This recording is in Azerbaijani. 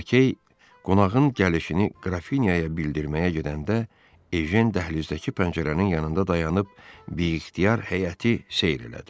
Lakey qonağın gəlişini qrafinyaya bildirməyə gedəndə Ejen dəhlizdəki pəncərənin yanında dayanıb biixtiyar həyəti seyr elədi.